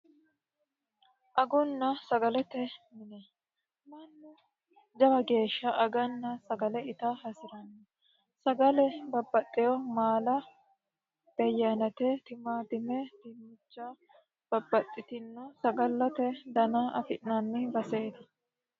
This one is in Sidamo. Agunna sagalete mine mannu jawa geesha aganna sagale ita hasiranno sagale babbaxewo maala, beyye ayinete, timaatime, dinicha babbaxitinno sagalete dana afi'nanni baseeti